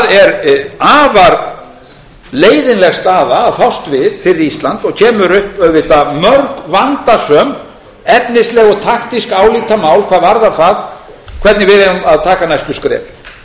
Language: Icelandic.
er afar leiðinleg staða að fást við fyrir ísland og kemur upp auðvitað mörg vandasöm efnisleg og taktísk álitamál hvað varðar það hvernig við eigum að taka næstu skref